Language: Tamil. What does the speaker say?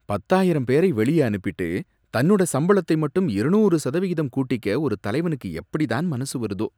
பத்தாயிரம் பேரை வெளியே அனுப்பிட்டு, தன்னோட சம்பளத்தை மட்டும் இருநூறு சதவிகிதம் கூட்டிக்க ஒரு தலைவனுக்கு எப்படித்தான் மனசு வருதோ